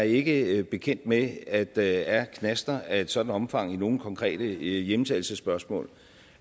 ikke er bekendt med at der er knaster af et sådant omfang i nogen konkrete hjemtagelsesspørgsmål